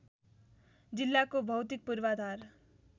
जिल्लाको भौतिक पूर्वाधार